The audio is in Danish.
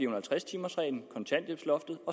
og halvtreds timers reglen kontanthjælpsloftet og